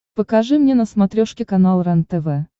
покажи мне на смотрешке канал рентв